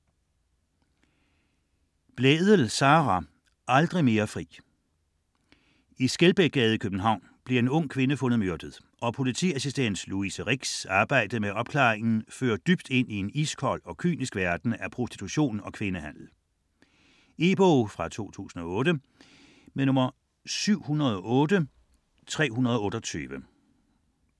Blædel, Sara: Aldrig mere fri I Skelbækgade i København bliver en ung kvinde fundet myrdet, og politiassistent Louise Ricks arbejde med opklaringen fører dybt ind i en iskold og kynisk verden af prostitution og kvindehandel. E-bog 708328 2008.